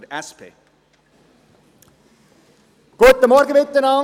Präambel: Die nachfolgende Erklärung des Grossen Rates hat richtungsweisenden Charakter.